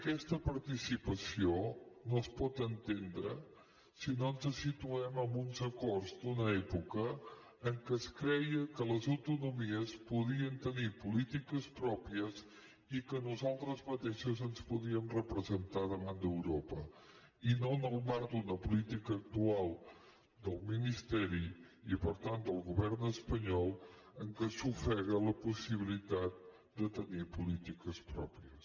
aquesta participació no es pot entendre si no ens situem en uns acords d’una època en què es creia que les autonomies podien tenir polítiques pròpies i que nosaltres mateixes ens podíem representar davant d’europa i no en el marc d’una política actual del ministeri i per tant del govern espanyol en què s’ofega la possibilitat de tenir polítiques pròpies